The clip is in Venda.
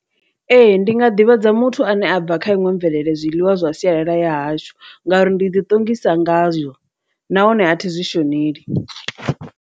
Ee, ndi nga ḓivhadza muthu ane a bva kha iṅwe mvelele zwiḽiwa zwa sialala ya hashu ngauri ndi ḓiṱongisa ngazwo, nahone a thi zwi shoneli.